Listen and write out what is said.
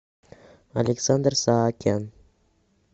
александр саакян